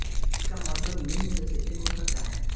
इसका मतलब निम्न में से एक हो सकता है